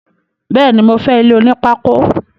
Béèni, mo fé ilé onípákó